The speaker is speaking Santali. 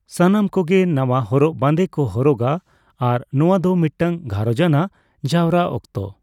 ᱥᱟᱱᱟᱢ ᱠᱚᱜᱮ ᱱᱟᱣᱟ ᱦᱚᱨᱚᱜ ᱵᱟᱸᱫᱮ ᱠᱚ ᱦᱚᱨᱚᱜᱟ ᱟᱨ ᱱᱚᱣᱟ ᱫᱚ ᱢᱤᱫᱴᱟᱝ ᱜᱷᱟᱨᱚᱸᱡᱟᱱᱟᱜ ᱡᱟᱣᱨᱟ ᱚᱠᱛᱚ ᱾